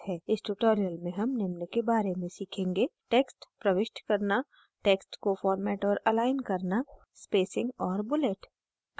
इस tutorial में हम निम्न के बारे में सीखेंगे